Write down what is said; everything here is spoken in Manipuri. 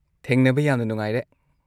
ꯊꯦꯡꯅꯕ ꯌꯥꯝꯅ ꯅꯨꯡꯉꯥꯏꯔꯦ꯫